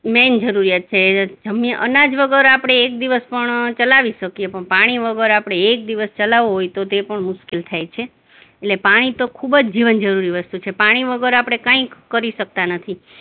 main જરૂરિયાત છે જમ્યા, અનાજ વગર આપણે એક દિવસ પણ ચલાવી શકીએ પણ પાણી વગર આપણે એક દિવસ ચલાવવું હોય તો તે પણ મુશ્કિલ થાય છે એટલે પાણી તો ખુબ જ જીવનજરૂરી વસ્તુ છે, પાણી વગર આપણે કઈ કરી શકતા નથી.